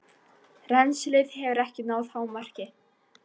Rennslið hefur ekki náð hámarki.